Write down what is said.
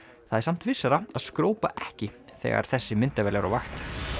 það er samt vissara að skrópa ekki þegar þessi myndavél er á vakt